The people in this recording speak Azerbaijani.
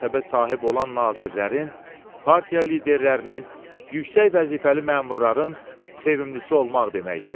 qəsbə sahib olan nazirlərin, partiya liderlərinin, yüksək vəzifəli məmurların sevimilisi olmaq deməkdir.